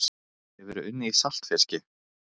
Hefurðu unnið í saltfiski?